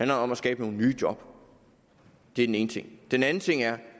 det om at skabe nogle nye job det er den ene ting den anden ting er